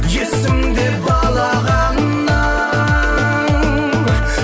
есімде балағаның